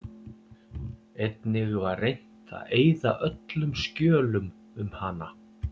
Einnig var reynt að eyða öllum skjölum um hana.